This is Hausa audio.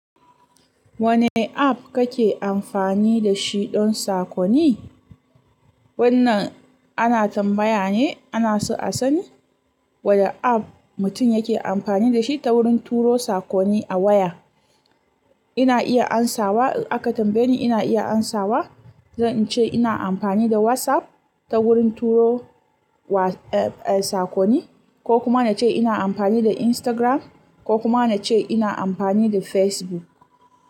Wani app kake amfani da shi don saƙonni? Wannan ana tambaya ne ana so a sani wane App mutum yake amfani da shi ta wurin turo saƙonni a waya. Ina iya amsawa, aka tambaye ni ina iya amsawa. Zan ce ina amfani da WhatsApp ta wurin turo wa, eh, sakonni, ko kuma na ce ina amfani da Instagram, ko kuma na ce ina amfani da Facebook.